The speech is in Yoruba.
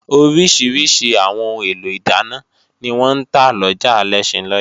Oríṣiríṣi àwọn ohun èlò ìdáná ni wọ́n ń ta lọjà Alẹ́ṣinlọ́yẹ́